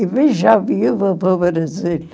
Eu vim já viúva para o Brasil.